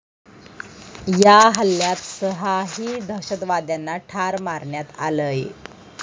या हल्ल्यात सहाही दहशतवाद्यांना ठार मारण्यात आलंय.